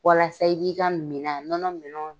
Walasa i k'i ka minan nɔnɔ minan